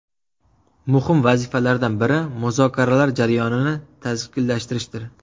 Muhim vazifalardan biri muzokaralar jarayonini tashkillashtirishdir.